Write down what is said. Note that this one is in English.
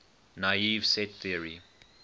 naive set theory